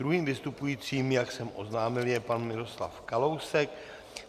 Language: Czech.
Druhým vystupujícím, jak jsem oznámil, je pan Miroslav Kalousek.